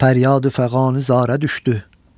Pəryadi-fəğani zarə düşdü.